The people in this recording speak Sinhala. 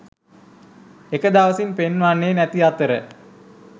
එක දවසින් පෙන්වන්නේ නැති අතර